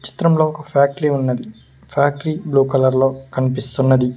చిత్రంలో ఒక ఫ్యాక్టరీ ఉన్నది ఫ్యాక్టరీ బ్లూ కలర్ లో కనిపిస్తున్నది.